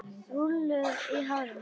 Rúllur í hárinu.